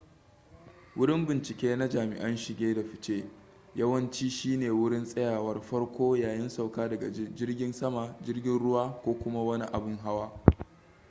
wurin bincike na jami'an shige da fice yawanci shi ne wurin tsayawar farko yayin sauka daga jirgin sama jirgin ruwa ko kuma wani abin hawa